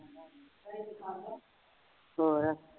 ਹੋਰ